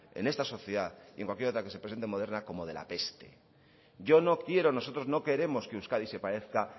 en esta sociedad y en cualquier otra que se presente moderna como de la peste yo no quiero nosotros no queremos que euskadi se parezca